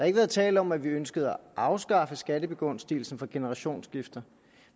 ikke været tale om at vi ønskede at afskaffe skattebegunstigelsen for generationsskifter